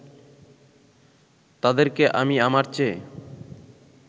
তাদেরকে আমি আমার চেয়ে